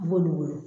N b'olu wele